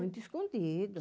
Muito escondido.